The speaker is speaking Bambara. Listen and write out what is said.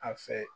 A fɛ